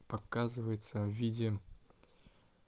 показывается в виде